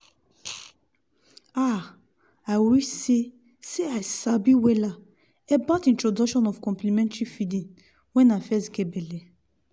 ah i wish seh seh i sabi wella about introduction of complementary feeding when i fess geh belle